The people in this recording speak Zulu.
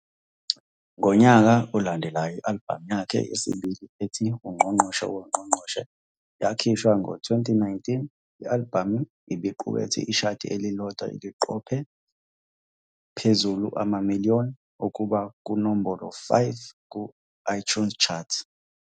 Ngonyaka olandelayo i-albhamu yakhe yesibili ethi, "Ungqongqoshe Woongqongqoshe" yakhishwa ngo, 2019. I-albhamu ibiqukethe ishadi elilodwa eliqopha phezulu- "Ama-Million",okube kunombolo-5 ku-iTunes Chart.